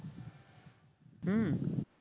হম